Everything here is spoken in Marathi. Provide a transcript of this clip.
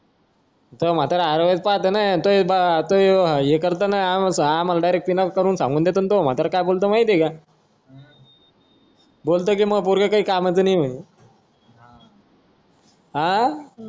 त्वा म्हातारा हरवायला च पाहतां ना आम्हाला direct पिना करून सांगून देतो ना तुझा म्हतारा काय बोलतो माहितीये का बोलतो कि पोरग काही कामाचं नाही ये म्हणे अं